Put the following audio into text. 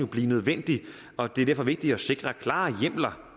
blive nødvendigt og det er derfor vigtigt at sikre klare hjemler